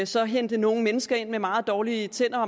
så hente nogle mennesker ind med meget dårlige tænder